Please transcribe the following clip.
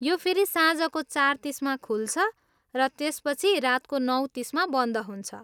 यो फेरि साँझको चार तिसमा खुल्छ र त्यसपछि रातको नौ तिसमा बन्द हुन्छ।